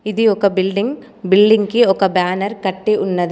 ఇది ఒక building building కి ఒక బ్యానర్ కట్టి ఉన్నది.